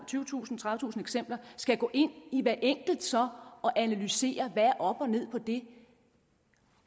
tyvetusind tredivetusind eksempler skal gå ind i hvert enkelt og så analysere hvad der er op og ned på det